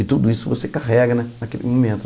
E tudo isso você carrega na naquele momento.